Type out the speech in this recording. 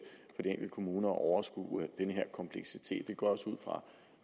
kommuner at overskue den her kompleksitet det går